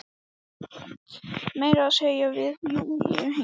Meira að segja við Júlíu yngri.